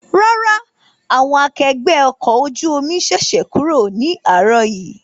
Rárá, àwọn akẹgbẹ́ ọkọ̀ ojú omi ṣẹ̀ṣẹ̀ kúrò ní àárọ̀ yìí